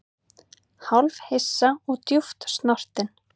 Hálfhissa og djúpt snortinn